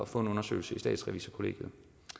få en undersøgelse i statsrevisorkollegiet